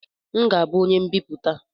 M ga-abụ onye mbiputa